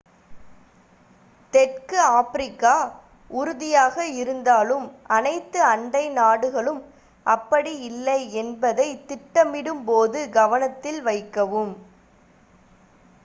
தெற்கு ஆப்பிரிக்கா உறுதியாக இருந்தாலும் அனைத்து அண்டை நாடுகளும் அப்படி இல்லை என்பதை திட்டமிடும் போது கவனத்தில் வைக்கவும்